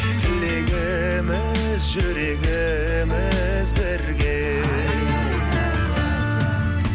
тілегіміз жүрегіміз бірге